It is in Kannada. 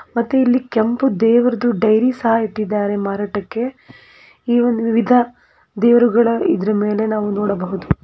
ಮತ್ತೆ ಇಲ್ಲಿ ಕೆಂಪು ದೇವ್ರುದು ಡೈರಿ ಸಹ ಇಟ್ಟಿದ್ದಾರೆ ಮಾರಾಟಕ್ಕೆಈ ಒಂದು ವಿಧ ದೇವರುಗಳ ಇದರ ಮೆಲೆ ನಾವು ನೋಡಬಹುದು.